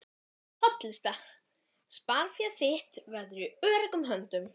hollusta. sparifé þitt verður í öruggum höndum.